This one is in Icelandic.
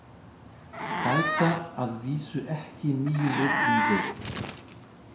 Bæta að vísu ekki nýjum rullum við.